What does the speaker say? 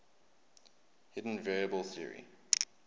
hidden variable theory